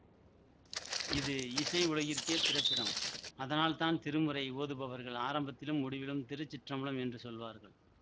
இது இசை உலகிற்கே பிறப்பிடம் அதனால் தான் திருமுறை ஓதுபவர்கள் ஆரம்பத்திலும் முடிவிலும் திருச்சிற்றம்பலம் என்று சொல்வார்கள்